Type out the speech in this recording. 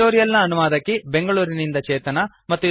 ಈ ಟ್ಯುಟೋರಿಯಲ್ ನ ಅನುವಾದಕಿ ಬೆಂಗಳೂರಿನಿಂದ ಚೇತನಾ